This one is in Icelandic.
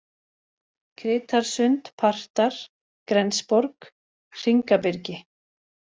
Kritarsund, Partar, Grensborg, Hringabyrgi